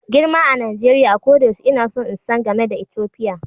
Girma a Najeriya, a koda yaushe ina son insan game da Ethiopia.